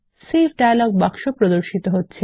save dialog বাক্স প্রদর্শিত হচ্ছে